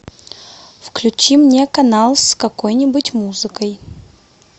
включи мне канал с какой нибудь музыкой